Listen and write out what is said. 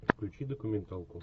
включи документалку